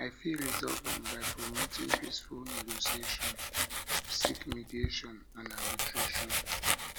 i fit resolve am by promoting peaceful negotiation seek mediation and arbitration